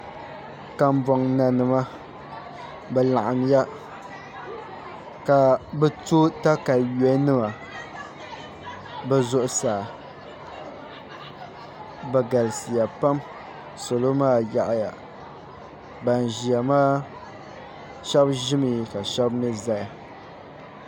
Kanbon nanima bi laɣamya ka bi to katawiya nima bi zuɣusaa bi galisiya pam salo maa yaɣaya ban ʒiya maa shab ʒimi ka shab mii ʒɛya